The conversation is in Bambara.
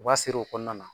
U b'a siri o kɔnɔna na